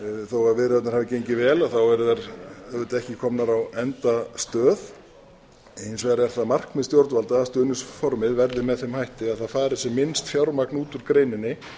þó að viðræðurnar hafi gengið vel þá eru þær auðvitað ekki komnar á endastöð hins vegar er það markmið stjórnvalda að stuðningsformið verði með þeim hætti að það fari sem minnst fjármagn út úr greininni